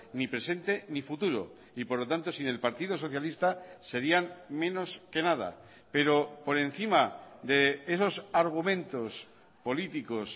ni presente ni futuro y por lo tanto sin el partido socialista serían menos que nada pero por encima de esos argumentos políticos